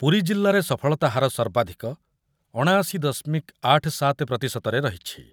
ପୁରୀ ଜିଲ୍ଲାରେ ସଫଳତା ହାର ସର୍ବାଧିକ ଅଣାଅଶି ଦଶମିକ ଆଠ ସାତ ପ୍ରତିଶତ ରେ ରହିଛି ।